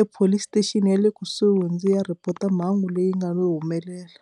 epolice station ya le kusuhi ndzi ya report mhangu leyi nga lo humelela.